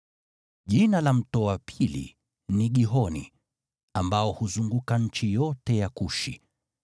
Jina la mto wa pili ni Gihoni, ambao huzunguka nchi yote ya Kushi.